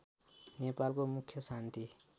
नेपालको मुख्य शान्ति